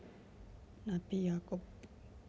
Nabi Yakub